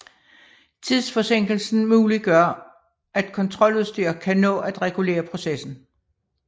Tidsforsinkelsen muliggør at kontroludstyr kan nå at regulere processen